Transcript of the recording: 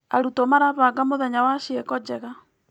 Arutwo marabanga mũthenya wa ciĩko njega.